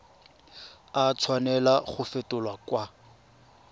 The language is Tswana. a tshwanela go fetolwa kwa